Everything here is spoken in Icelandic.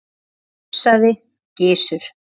hugsaði Gizur.